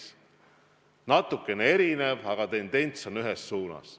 See on natukene erinev, aga tendents on ühes suunas.